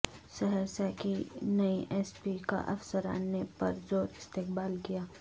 سہرسہ کی نئی S P کا افسران نے پرزور استقبال کیا